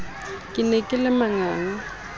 ke ne ke le manganga